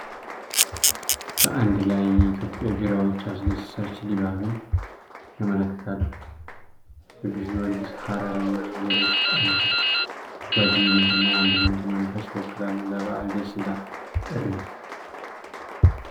በአንድ ላይ የቆሙ የኢትዮጵያ ቢራዎች አስደሳች ድባብን ያመለክታሉ። የቅዱስ ጊዮርጊስ፣ ሀረር እና ሌሎች ጠርሙሶች የጓደኝነትንና የአንድነትን መንፈስ ይወክላሉ። ለበዓል የደስታ ጥሪ!